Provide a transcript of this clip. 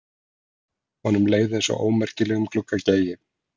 Honum leið einsog ómerkilegum gluggagægi.